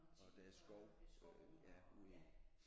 Og der er skov øh ja ude i